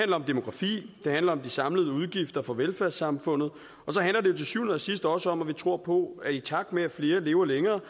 om demografi det handler om de samlede udgifter for velfærdssamfundet og til syvende og sidst også om at vi tror på at i takt med at flere lever længere